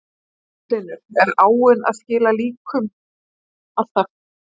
Magnús Hlynur: Er áin að skila líkum alltaf?